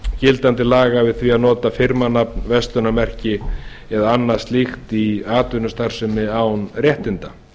gildandi laga við því að nota firmanafn verslunarmerki eða annað slíkt í atvinnustarfsemi án réttinda